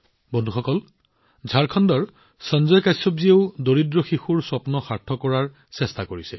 বন্ধুসকল ঝাৰখণ্ডৰ সঞ্জয় কাশ্যপজীয়েও দৰিদ্ৰ শিশুৰ সপোনক নতুন ডেউকা প্ৰদান কৰিছে